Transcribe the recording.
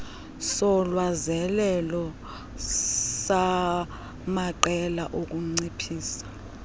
solwazelelo samaqela okunciphisa